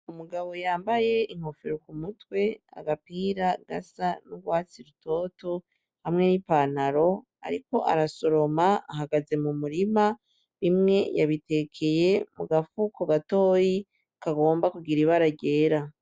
Umugabo yambaye inkofero ku mutwe agapira gasa n'urwatsi rutoto hamwe n'i panaro, ariko arasoroma ahagaze mu murima bimwe yabitekeye mu gafu ku gatoyi kagomba kugira ibara gera.